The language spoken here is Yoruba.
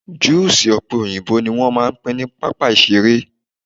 juusi òpe òyìnbó ni wán pín ni pápá iṣere